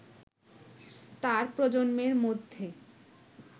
তার প্রজন্মের মধ্যে